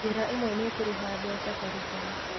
Njĩra ĩmwe nĩ kũrĩha mbeca baribari